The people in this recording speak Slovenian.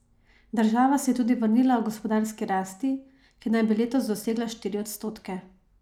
Država se je tudi vrnila h gospodarski rasti, ki naj bi letos dosegla štiri odstotke.